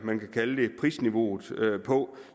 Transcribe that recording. prisniveauet på